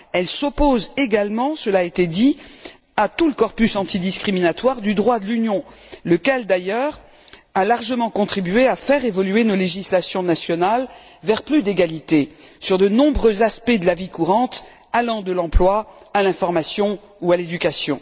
Elle s'oppose également cela a été dit à tout le corpus antidiscriminatoire du droit de l'Union, lequel d'ailleurs a largement contribué à faire évoluer nos législations nationales vers plus d'égalité sur de nombreux aspects de la vie courante, allant de l'emploi à l'information ou à l'éducation.